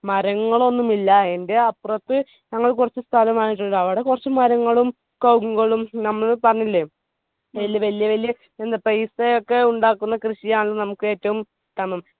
മരങ്ങളൊന്നും ഇല്ല. എന്റെ അപ്പുറത് ഞങ്ങൾ കൊറച്ചു സ്ഥലം വാങ്ങിയിട്ടുണ്ട് അവിടെ കൊർച് മരങ്ങളും കവുങ്ങുകളും നമ്മൾ പറഞ്ഞില്ലേ വെല്യ വെല്യ എന്ത് paisa ഒക്കെ ഉണ്ടാക്കുന്ന കൃഷിയാണ് നമ്മുക്ക് ഏറ്റവും